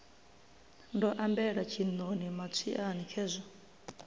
ndo ambela tshiṋoni matswiani khezwi